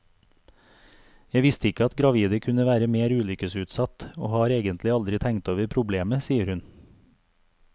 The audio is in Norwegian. Jeg visste ikke at gravide kunne være mer ulykkesutsatt, og har egentlig aldri tenkt over problemet, sier hun.